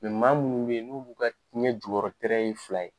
Mɛ maa minnu bɛ yen n'olu ka ɲɛ jukɔrɔla ye fila ye,